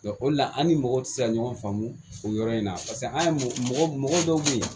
o de la an ni mɔgɔw ti se ka ɲɔgɔn faamu o yɔrɔ in na an ye mɔgɔ dɔw be yen